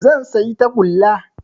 Zan sayi tagulla